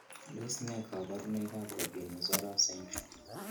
Tos nee koborunoikab Robinow Sorauf syndrome?